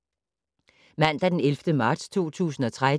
Mandag d. 11. marts 2013